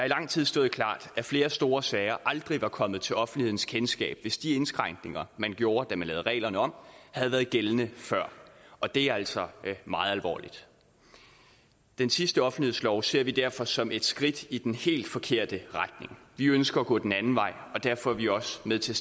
lang tid stået klart at flere store sager aldrig var kommet til offentlighedens kendskab hvis de indskrænkninger man gjorde da man lavede reglerne om havde været gældende før og det er altså meget alvorligt den sidste offentlighedslov ser vi derfor som et skridt i den helt forkerte retning vi ønsker at gå den anden vej og derfor er vi også med til